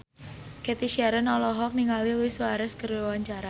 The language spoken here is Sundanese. Cathy Sharon olohok ningali Luis Suarez keur diwawancara